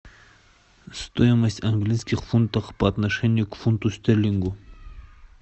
стоимость английских фунтов по отношению к фунту стерлингу